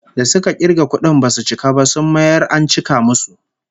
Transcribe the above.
Da suka kirga kudin basu cika ba, sun mayar an cika musu